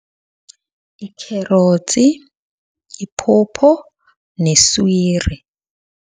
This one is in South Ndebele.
Ikherotsi, iphopho neswiri.